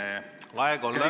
Aeg on läbi!